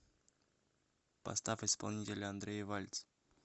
поставь исполнителя андрей вальц